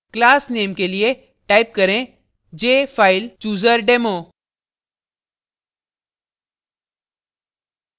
class name के लिए type करें jfilechooserdemo